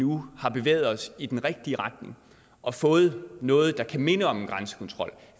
nu har bevæget os i den rigtige retning og fået noget der kan minde om en grænsekontrol